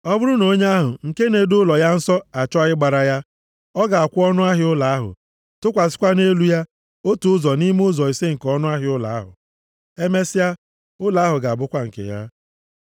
Ọ bụrụ na onye ahụ nke na-edo ụlọ ya nsọ achọọ ịgbara ya, ọ ga-akwụ ọnụahịa ụlọ ahụ, tụkwasịkwa nʼelu ya otu ụzọ nʼime ụzọ ise nke ọnụahịa ụlọ ahụ. Emesịa, ụlọ ahụ ga-abụkwa nke ya.